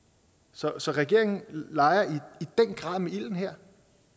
så regeringen leger i den grad med ilden her